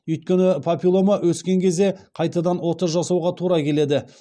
өйткені папиллома өскен кезде қайтадан ота жасауға тура келеді